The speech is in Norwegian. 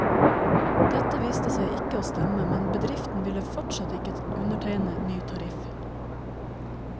Dette viste seg ikke å stemme, men bedriften ville fortsatt ikke undertegne ny tariff.